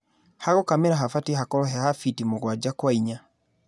Hagũkamĩra habatie hakorwo heha fiti mũgwaja kwa inya.